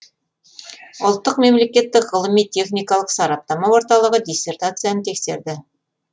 ұлттық мемлекеттік ғылыми техникалық сараптама орталығы диссертацияны тексерді